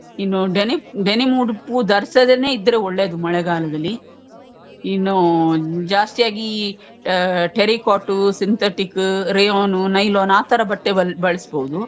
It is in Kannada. ಇನ್ನು denim denim ಉ~ ಉಡುಪು ಧರಿಸದೇನೇ ಇದ್ರೆ ಒಳ್ಳೇದು ಮಳೆಗಾಲದಲ್ಲಿ ಇನ್ನು ಜಾಸ್ತಿಯಾಗಿ ಈ terrycot ಟು syntheticಕ್ rayonನು nylon ಆತರ ಬಟ್ಟೆ ಬ~ ಬಳಸ್ಬೋದು.